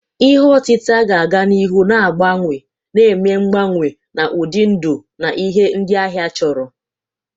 Ihe otita ga-aga n'ihu na-agbanwe, na-eme mgbanwe n'ụdị ndụ na ihe ndị ahịa chọrọ.